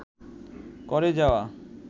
করে যাওয়া